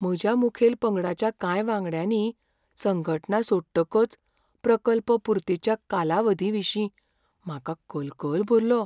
म्हज्या मुखेल पंगडाच्या कांय वांगड्यांनी संघटना सोडटकच प्रकल्प पुर्तेच्या कालावधीविशीं म्हाका कलकल भरलो.